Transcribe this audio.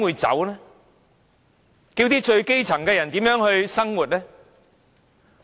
最基層的人怎樣生活？